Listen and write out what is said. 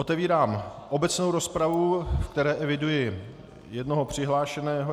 Otevírám obecnou rozpravu, v které eviduji jednoho přihlášeného.